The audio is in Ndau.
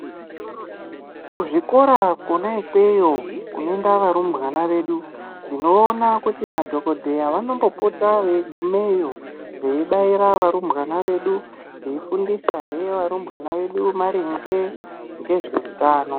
Kuzvikora kona ikweyo kunoenda varumbwana vedu tinoona kuti madhokodheya vanombopota veigumayo veibaira varumbwana vedu vefundisahe varumbwana vedu ngemaringe ngezveutano.